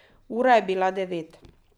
Ura je bila devet.